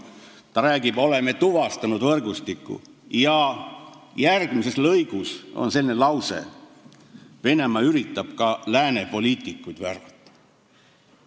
Ta räägib, et oleme tuvastanud võrgustiku, ja järgmises lõigus on selline lause, et Venemaa üritab ka lääne poliitikuid värvata.